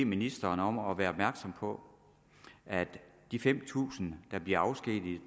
ministeren om at være opmærksom på at de fem tusind der blev afskediget